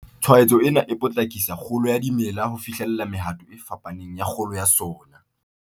Tshwaetso ena e potlakisa kgolo ya dimela ho fihlella mehato e fapaneng ya kgolo ya sona.